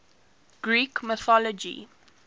greek mythology